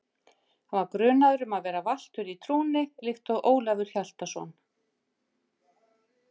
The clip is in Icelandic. Hann var grunaður um að vera valtur í trúnni líkt og Ólafur Hjaltason.